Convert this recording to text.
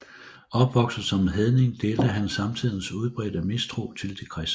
Opvokset som hedning delte han samtidens udbredte mistro til de kristne